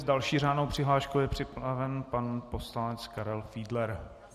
S další řádnou přihláškou je připraven pan poslanec Karel Fiedler.